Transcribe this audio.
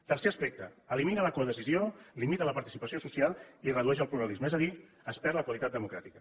tercer aspecte elimina la codecisió limita la participació social i redueix el pluralisme és a dir es perd la qualitat democràtica